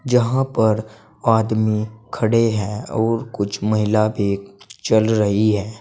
जहां पर आदमी खड़े हैं और कुछ महिला भी चल रही है।